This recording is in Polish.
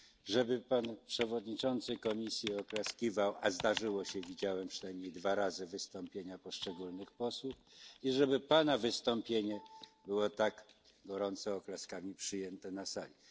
żeby pan przewodniczący Komisji Europejskiej oklaskiwał a zdarzyło się, widziałem przynajmniej dwa razy wystąpienia poszczególnych posłów i żeby pana wystąpienie było tak gorąco przyjęte oklaskami na tej sali.